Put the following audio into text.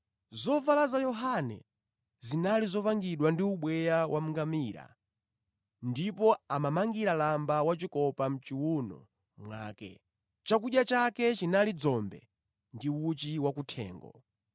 Zovala za Yohane zinali zopangidwa ndi ubweya wa ngamira, ndipo amamangira lamba wachikopa mʼchiwuno mwake. Chakudya chake chinali dzombe ndi uchi wa kuthengo.